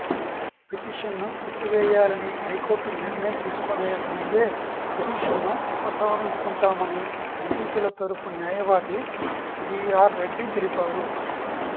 పిటిషన్ను కొట్టివేయాలని హైకోర్టు నిర్ణయం తీసుకునే ముందే పిటిషన్ను ఉపసంహరించుకుంటామని నిందితుల తరపు న్యాయవాది బిఆర్ రెడ్డి తెలిపారు